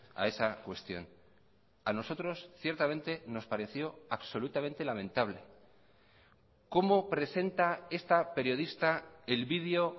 a esa cuestión a nosotros ciertamente nos pareció absolutamente lamentable cómo presenta esta periodista el video